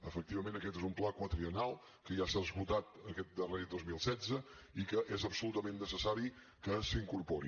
efectivament aquest és un pla quadriennal que ja s’ha esgotat aquest darrer dos mil setze i que és absolutament necessari que s’incorpori